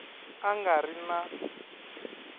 a nga ri na n